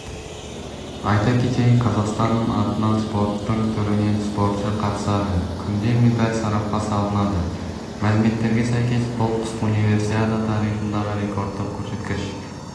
айта кетейік қазақстан атынан спорттың түрінен спортшы қатысады күнде медаль сарапқа салынады мәліметтерге сәйкес бұл қысқы универсиада тарихындағы рекордтық көрсеткіш